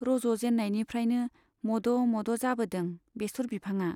रज'जेन्नायनिफ्राइनो मद' मद' जाबोदों बेसर बिफांआ।